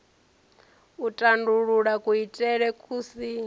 u tandulula kuitele ku si